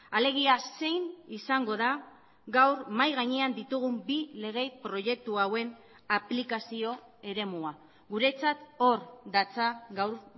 alegia zein izango da gaur mahai gainean ditugun bi lege proiektu hauen aplikazio eremua guretzat hor datza gaur